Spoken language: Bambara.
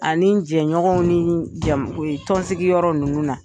Ani jɛɲɔgɔn ni jamu ye tɔnonsigi yɔrɔ ninnu na.